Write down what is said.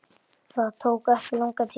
Það tók ekki langan tíma.